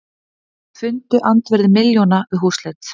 Fundu andvirði milljóna við húsleit